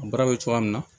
A baara bɛ cogoya min na